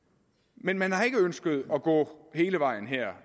men man har ikke ønsket at gå hele vejen